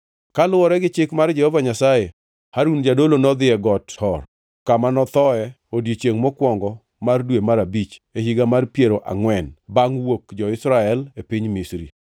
Kaluwore gi chik mar Jehova Nyasaye, Harun jadolo nodhi e Got Hor, kama nothoe odiechiengʼ mokwongo mar dwe mar abich, e higa mar piero angʼwen bangʼ wuok jo-Israel e piny Misri.